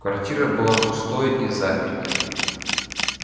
квартира была пустой и запертой